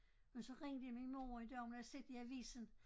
Og så ringede min mor en dag hun havde set i avisen